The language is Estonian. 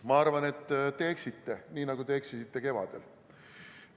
Ma arvan, et te eksite, nii nagu te eksisite kevadel.